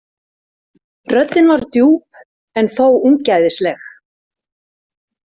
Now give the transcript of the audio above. Röddin var djúp en þó ungæðisleg.